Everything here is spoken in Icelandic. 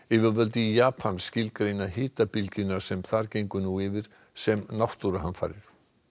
yfirvöld í Japan skilgreina hitabylgjuna sem þar gengur nú yfir sem náttúruhamfarir